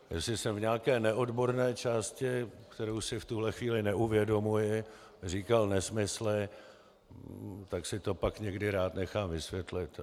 Jestli jsem v nějaké neodborné části, kterou si v tuhle chvíli neuvědomuji, říkal nesmysly, tak si to pak někdy rád nechám vysvětlit.